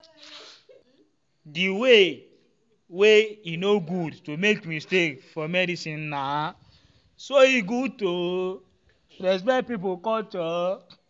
the um way wey e um no good to make mistake for medicinena so e good to um respect pipo culture.